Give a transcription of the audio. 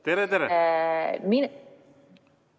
Lugupeetud minister!